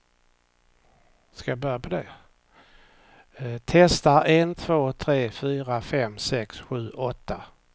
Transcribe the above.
Testar en två tre fyra fem sex sju åtta.